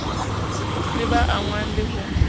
le ba angwang le ho